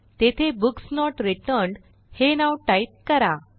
तेथे books not returned हे नाव टाईप करा